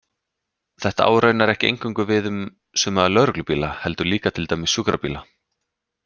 Þetta á raunar ekki eingöngu við um suma lögreglubíla, heldur líka til dæmis sjúkrabíla.